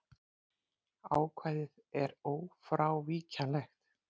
Ákvæðið er ófrávíkjanlegt.